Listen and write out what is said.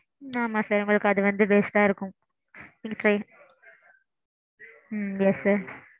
ஆமாம் sir உங்களுக்கு அது வந்து waste ஆ இருக்கும். ம்ம் yes sir.